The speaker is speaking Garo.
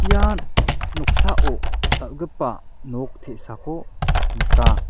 ian noksao dal·gipa nok te·sako nika.